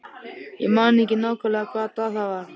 Ég man ekki nákvæmlega hvaða dag það var.